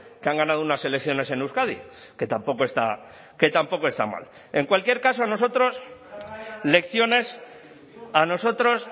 que han ganado unas elecciones en euskadi que tampoco está que tampoco está mal en cualquier caso a nosotros lecciones a nosotros